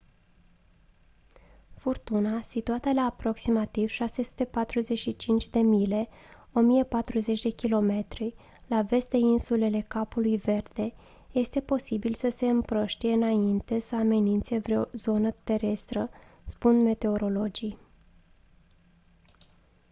furtuna situată la aproximativ 645 de mile 1040 km la vest de insulele capului verde este posibil să se împrăștie înainte să amenințe vreo zonă terestră spun meteorologii